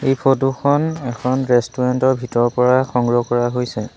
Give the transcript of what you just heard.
এই ফটো খন এখন ৰেষ্টুৰেণ্ট ৰ ভিতৰৰ পৰা সংগ্ৰহ কৰা হৈছে।